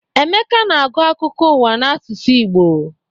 Emeka na-agụ akụkọ ụwa n'asụsụ Igbo.